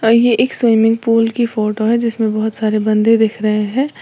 यह एक swimming pool की फोटो है जिसमें बहुत सारे बंदे दिख रहे हैं।